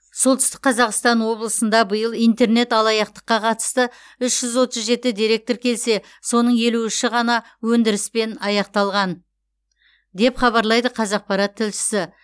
солтүстік қазақстан облысында биыл интернет алаяқтыққа қатысты үш жүз отыз жеті дерек тіркелсе соның тек елу үші ғана өндіріспен аяқталған деп хабарлайды қазақпарат тілшісі